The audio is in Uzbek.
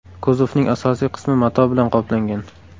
Kuzovning asosiy qismi mato bilan qoplangan.